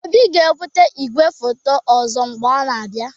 Obi ga-ebute igwefoto ọzọ mgbe ọ na-abịa